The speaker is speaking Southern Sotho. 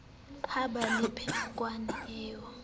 ha ba le pherekano eo